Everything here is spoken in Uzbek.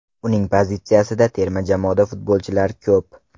Uning pozitsiyasida terma jamoada futbolchilar ko‘p.